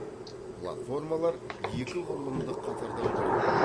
платформалар екі құрылымдық қатардан тұрады